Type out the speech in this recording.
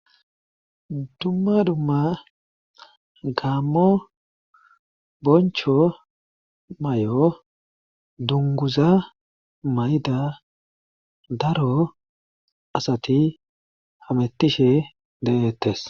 dumma dumma gaammo boncho may7o dunguza may7da daro asati hamettishe de'eettes